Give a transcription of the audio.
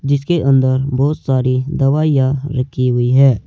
जिसके अंदर बहोत सारी दवाइयां रखी हुई है।